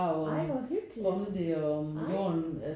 Ej hvor hyggeligt ej